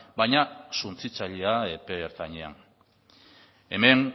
baina suntsitzailea epe ertainean hemen